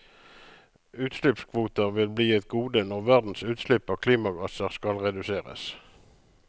Utslippskvoter vil bli et gode når verdens utslipp av klimagasser skal reduseres.